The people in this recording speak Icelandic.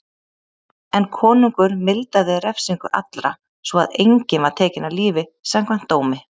En konungur mildaði refsingu allra svo að enginn var tekinn af lífi samkvæmt dómi.